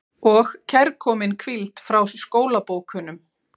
Og kærkomin hvíld frá skólabókunum.